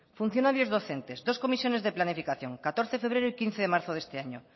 funcionarios docentes dos comisiones de planificación catorce de febrero y quince de marzo de este año